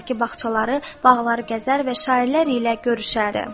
ki bağçaları, bağları gəzər və şairlər ilə görüşərdi.